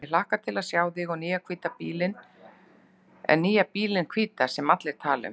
Ég hlakka til að sjá þig og nýja bílinn hvíta sem allir tala um.